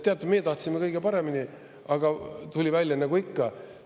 "Teate, meie tahtsime kõige paremini, aga tuli välja nagu ikka.